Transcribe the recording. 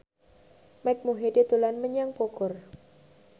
Mike Mohede dolan menyang Bogor